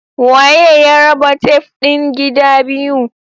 Waye ya raba tef din gida biyu?